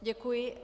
Děkuji.